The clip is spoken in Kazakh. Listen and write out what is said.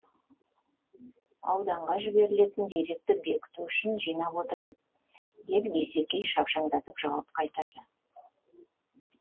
ауданға жіберілетін деректі бекіту үшін жинап отырмыз деп дүйсекей шапшаңдатып жауап қайтарды